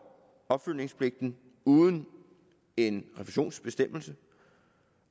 opfølgningspligten uden en refusionsbestemmelse